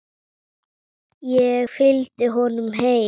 Ég fylgdi honum heim.